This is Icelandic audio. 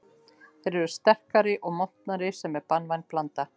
Þeir eru sterkari og montnari sem er banvæn blanda.